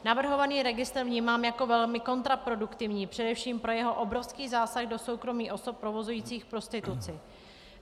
Navrhovaný registr vnímám jako velmi kontraproduktivní především pro jeho obrovský zásah do soukromí osob provozujících prostituci.